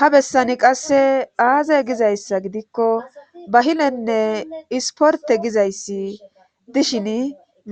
Habessani qasse aazay gizayssa gidikko bahilenne isporte gizayssi dishin